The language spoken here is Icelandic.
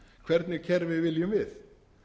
hvernig kerfi viljum við